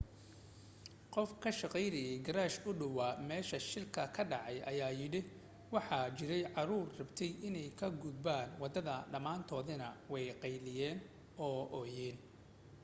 qof ka shaqaynayay geerash u dhowaa meesha shilku ka dhacay ayaa yidhi: waxa jiray caruur rabtay inay ka gudbaan waddada dhammaantoodna way qaylinayeen oo ooyeen.